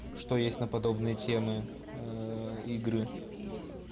что есть на подобные темы а игры